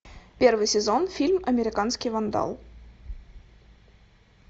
первый сезон фильм американский вандал